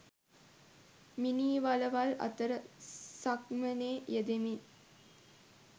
මිනී වළවල් අතර සක්මනේ යෙදෙමින්